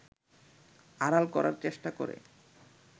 আড়াল করার চেষ্টা করে